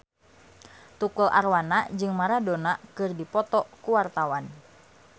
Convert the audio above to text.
Tukul Arwana jeung Maradona keur dipoto ku wartawan